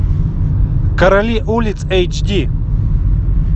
короли улиц эйч ди